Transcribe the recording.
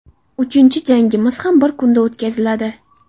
Uchinchi jangimiz ham bir kunda o‘tkaziladi.